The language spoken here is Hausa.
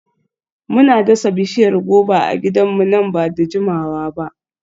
Muna dasa bishiyar goba a gidanmu nan ba da jimawa ba.